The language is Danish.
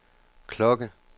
klokke